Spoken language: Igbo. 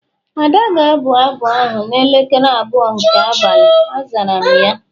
Ada ga-abụ abụ ahụ n'elekere abụọ nke abalị, azara m ya